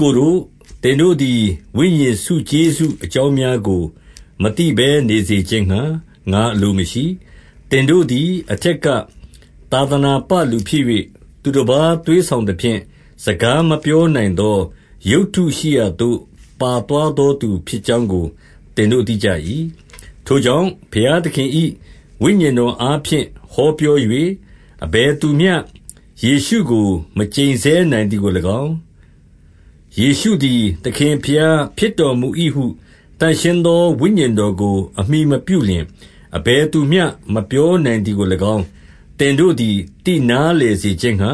ကိုတို့၊ သင်တို့သည် ဝိညာဉ်ဆုကျေးဇူး အကြောင်း များကို မသိဘဲနေစေခြင်းငှါ ငါအလိုမရှိ။ 2 သင်တို့သည် အထက်ကသာသနာပလူဖြစ်၍၊ သူတပါး သွေးဆောင်သဖြင့်၊ စကားမပြောနိုင်သော ရုပ်တုရှိရာသို့ ပါသွားသော သူဖြစ်ကြောင်းကို သင်တို့ သိကြ၏။ 3 ထိုကြောင့် ဘုရားသခင်၏ ဝိညာဉ်တော်အားဖြင့် ဟောပြော၍ အဘယ်သူမျှယေရှုကို မကျိန်ဆဲ နိုင်သည်ကို၎င်း၊ ယေရှုသည် သခင်ဘုရား ဖြစ်တော်မူ၏ဟု သန့်ရှင်းသောဝိညာဉ်တော်ကို အမှီမပြုလျှင်၊ အဘယ်သူမျှ မပြောနိုင်သည်ကို၎င်း၊ သင်တို့သည် သိနားလည် စေခြင်းငှါ